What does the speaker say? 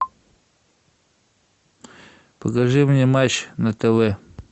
покажи мне матч на тв